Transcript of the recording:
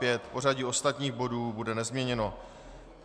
Pořadí ostatních bodů bude nezměněno.